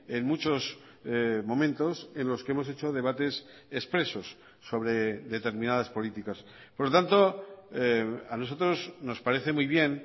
en muchos momentos en los que hemos hecho debates expresos sobre determinadas políticas por lo tanto a nosotros nos parece muy bien